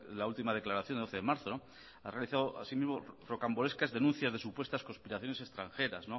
la última declaración de doce de marzo ha realizado asimismo rocambolescas denuncias de supuestas conspiraciones extranjeras